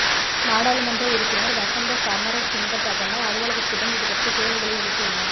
நாடாளுமன்ற உறுப்பினர் வசந்த சமரசிங்க பிரதமர் அலுவலகத்திடம் இது பற்றிய கேள்விகளை எழுப்பியுள்ளார்